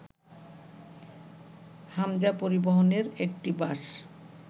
হামজা পরিবহনের একটি বাস